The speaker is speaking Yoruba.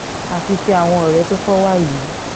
àfi tí àwọn ọ̀rẹ́ tó kọ wà yìí